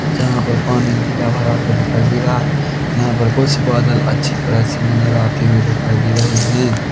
जहां पर पानी हरा दिखाई दे रहा है यहां पर बहुत से बादल अच्छे तरह से नजर आते हुए दिखाई दे रहे है।